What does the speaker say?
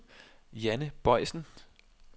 Janne Boysen